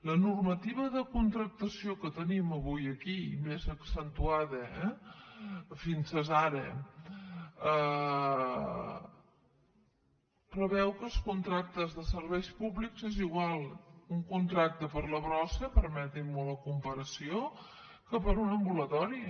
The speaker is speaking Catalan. la normativa de contractació que tenim avui aquí i més accentuada eh fins ara preveu que els contractes de serveis públics és igual un contracte per a la brossa permetin me la comparació que per a un ambulatori